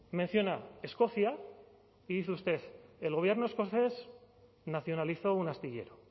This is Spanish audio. menciona escocia y dice usted el gobierno escocés nacionalizó un astillero